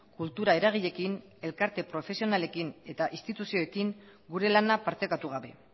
kultura eragileekin elkarte profesionalekin eta instituzioekin gure lana partekatu gabe